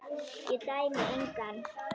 Ég dæmi engan.